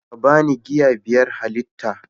ka ba ni giya biyar halitta